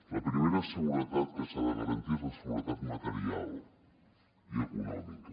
la primera seguretat que s’ha de garantir és la seguretat material i econòmica